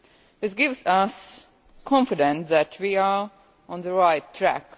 This gives us confidence that we are on the right track.